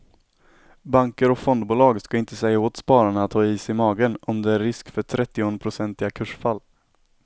Banker och fondbolag ska inte säga åt spararna att ha is i magen om det är en risk för trettionprocentiga kursfall.